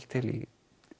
til í